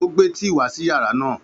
Ó gbé tíì wá sí yàrá náà